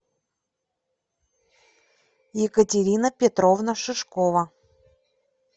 екатерина петровна шишкова